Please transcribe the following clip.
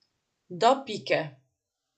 Do pike.